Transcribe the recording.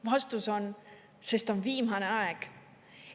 Vastus on, sest on viimane aeg.